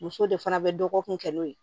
Muso de fana bɛ dɔgɔkun kɛ n'o ye